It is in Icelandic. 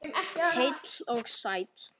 Heill og sæll.